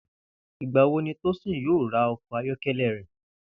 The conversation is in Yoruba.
Ìgbà wo ni Tósìn yóò ra o̩kò̩ ayó̩ké̩lé̩ rè̩?